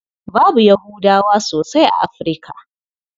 Babu Yahudawa sosai a Afirka.